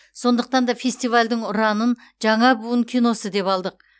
сондықтан да фестивальдің ұранын жаңа буын киносы деп алдық